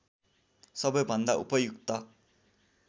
सबैभन्दा उपयुक्त